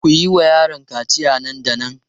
Ku yi wa yaron kaciya nan da nan!